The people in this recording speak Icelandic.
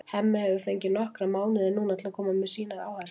Hemmi hefur fengið nokkra mánuði núna til að koma með sínar áherslur.